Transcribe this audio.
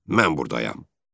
Ancaq mən buradayam.